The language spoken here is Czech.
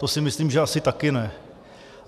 To si myslím, že asi taky ne.